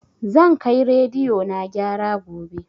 Zan kai rediyo na gyara gobe